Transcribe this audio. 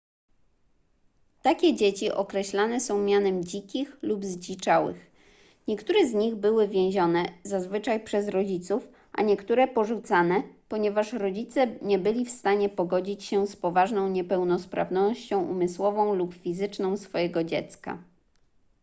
takie dzieci określane są mianem dzikich” lub zdziczałych”. niektóre z nich były więzione zazwyczaj przez rodziców a niektóre porzucane ponieważ rodzice nie byli w stanie pogodzić się z poważną niepełnosprawnością umysłową lub fizyczną swojego dziecka